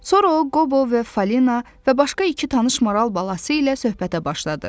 Sonra o Qobo və Falina və başqa iki tanış maral balası ilə söhbətə başladı.